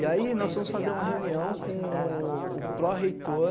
E aí nós fomos fazer uma reunião com o pró-reitor